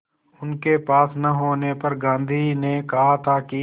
उनके पास न होने पर गांधी ने कहा था कि